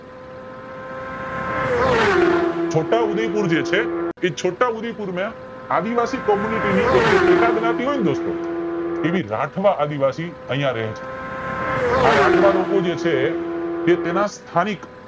છોટાઉદેપુર જે છે એ છોટા ઉદેપુર માં આદિવાસી ની જે પેટ જ્ઞાતિ હોય ને દોસ્તો એની રાઠવા આદિવાસી અહીંયા રહે છે આ રાઠવા લેકો જે છે તે તેના સ્થાનિક